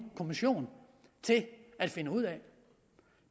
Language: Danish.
kommission til at finde ud af